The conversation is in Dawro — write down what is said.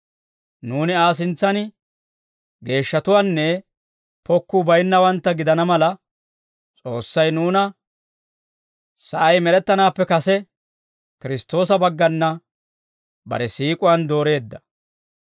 Nuuni Aa sintsan geeshshatuwaanne pokkuu bayinnawantta gidana mala, S'oossay nuuna sa'ay med'ettanaappe kase, Kiristtoosa baggana bare siik'uwaan dooreedda.